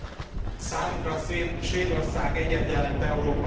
Számunkra Svédország egyet jelent Európával.